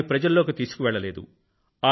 దాన్ని ప్రజలలోకి తీసుకువెళ్ళలేదు